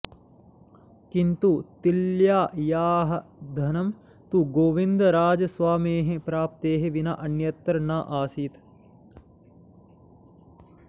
किन्तु तिल्यायाः ध्यानं तु गोविन्दराजस्वामेः प्राप्तेः विना अन्यत्र नासीत्